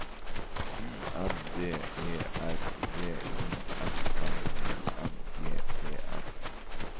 U N D E R V I S N I N G E N